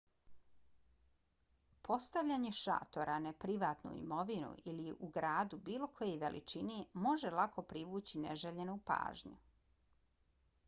postavljanje šatora na privatnu imovinu ili u gradu bilo koje veličine može lako privući neželjenu pažnju